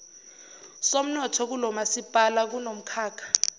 somnotho kulomasipala kunomkhakha